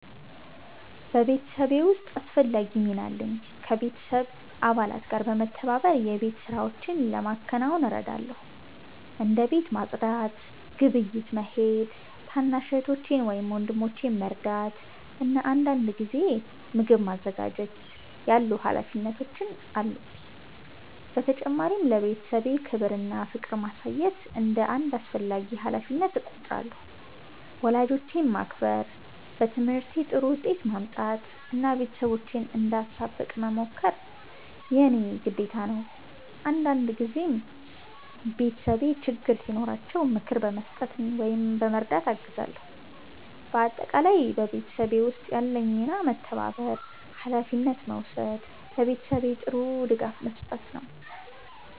በቤተሰቤ ውስጥ አስፈላጊ ሚና አለኝ። ከቤተሰብ አባላት ጋር በመተባበር የቤት ሥራዎችን ለማከናወን እረዳለሁ። እንደ ቤት ማጽዳት፣ ግብይት መሄድ፣ ታናሽ እህቶቼን ወይም ወንድሞቼን መርዳት እና አንዳንድ ጊዜ ምግብ ማዘጋጀት ያሉ ሀላፊነቶች አሉብኝ። በተጨማሪም ለቤተሰቤ ክብር እና ፍቅር ማሳየት እንደ አንድ አስፈላጊ ሀላፊነት እቆጥራለሁ። ወላጆቼን ማክበር፣ በትምህርቴ ጥሩ ውጤት ማምጣት እና ቤተሰቤን እንዳሳብቅ መሞከር የእኔ ግዴታ ነው። አንዳንድ ጊዜም ቤተሰቤ ችግር ሲኖራቸው ምክር በመስጠት ወይም በመርዳት አግዛለሁ። በአጠቃላይ በቤተሰብ ውስጥ ያለኝ ሚና መተባበር፣ ሀላፊነት መውሰድ እና ለቤተሰቤ ጥሩ ድጋፍ መስጠት ነው።